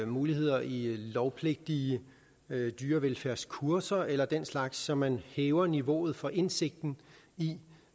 muligheder i lovpligtige dyrevelfærdskurser eller den slags så man hæver niveauet for indsigten i